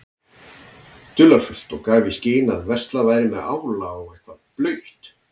dularfullt og gaf í skyn að verslað væri með ála og eitthvað blautt.